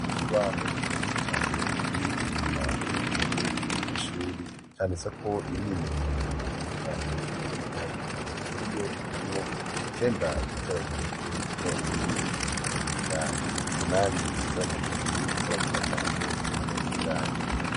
Iki baho kirimi cane kibi inyuma y'uruhome rwo ishuri cane tse ko imwimenyerezo itandukanye iyoibiharuro muri yo harimwo icenda guteranya rimwe guteranya irwi bingana bingahe umunani guteranya kabiri guteranya gatanu bingana bingahe.